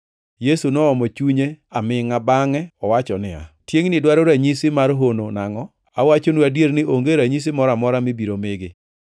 Yesu noomo chunye amingʼa bangʼe owacho niya, “Tiengʼni dwaro ranyisi mar hono nangʼo? Awachonu adier ni onge ranyisi moro amora mibiro migi.”